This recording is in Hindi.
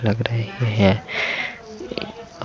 हरित में बहुत से रंग बिरंगे कपड़े हैं।